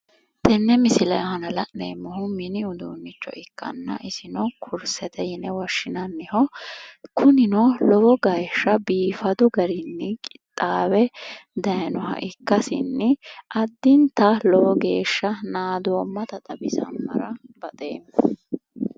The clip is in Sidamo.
Tenne misile aana la'neemmohu mini uduunnicho ikkanna isino kursete yine woshshinanniho kunino lowo geeshsha biifaadu garinni qixxaawe daayiinoha ikkasinni addinta lowo geeshsha naadoommasita xawisammara baxeema.